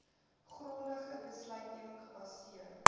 grondige besluitneming gebaseer